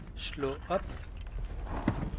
slå op